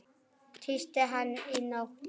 Tísti hann í nótt?